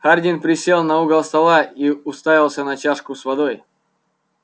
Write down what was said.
хардин присел на угол стола и уставился на чашку с водой